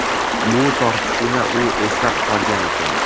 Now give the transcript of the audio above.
Bu tortishuvni u eslab qolgan ekan.